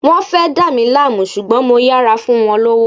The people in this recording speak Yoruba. Wán fẹ́ dá mí láàmú ṣùgbọ́n mo yára fún wọn lówó